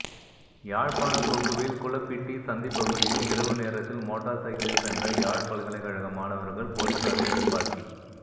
யாழ்ப்பாணம் கொக்குவில் குளப்பிட்டி சந்திப்பகுதியில் இரவு நேரத்தில் மோட்டார் சைக்கிளில் சென்ற யாழ் பல்கலைக்கழக மாணவர்கள் போலிசாரின் துப்பாக்கிப